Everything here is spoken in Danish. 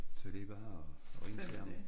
Så det bare og og ringe til ham